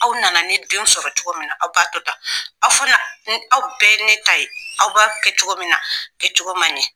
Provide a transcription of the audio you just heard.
Aw nana ne denw sɔrɔ cogo min na aw b'a to tan, aw fana, aw bɛɛ ye ne ta ye aw b'a kɛ cogo min na, a kɛ cogo man ɲɛ